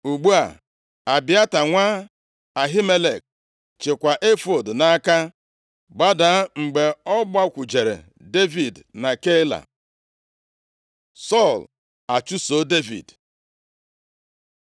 (Ugbu a, Abịata nwa Ahimelek chịkwa efọọd nʼaka gbadaa, mgbe ọ gbakwujere Devid na Keila). Sọl achụso Devid